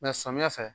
samiyɛ fɛ